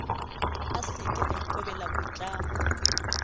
a seke a ikobela boitlamo